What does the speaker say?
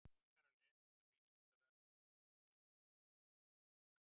Frekara lesefni á Vísindavefnum Eiga skólar að sjá um uppeldi?